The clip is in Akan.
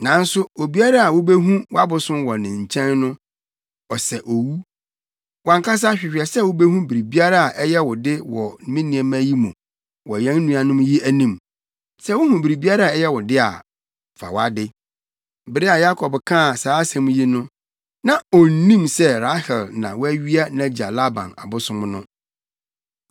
Nanso obiara a wubehu wʼabosom no wɔ ne nkyɛn no, ɔsɛ owu. Wʼankasa hwehwɛ sɛ wubehu biribiara a ɛyɛ wo de wɔ me nneɛma yi mu wɔ yɛn nuanom yi anim. Sɛ wuhu biribiara a ɛyɛ wo de a, fa wʼade.” Bere a Yakob kaa saa asɛm yi no, na onnim sɛ Rahel na wawia nʼagya Laban abosom no.